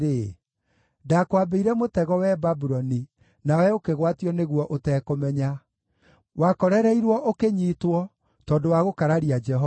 Ndaakwambĩire mũtego, wee Babuloni, nawe ũkĩgwatio nĩguo ũtekũmenya; wakorereirwo, ũkĩnyiitwo tondũ wa gũkararia Jehova.